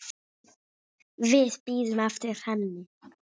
Við bíðum eftir henni